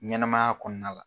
Ɲɛnɛmaya kɔnɔna la.